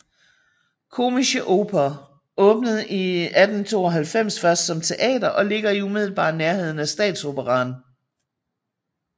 Komische Oper åbnede i 1892 først som teater og ligger i umiddelbar nærhed af Statsoperaen